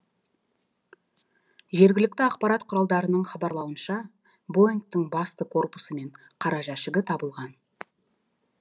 жергілікті ақпарат құралдарының хабарлауынша боингтің басты корпусы мен қара жәшігі табылған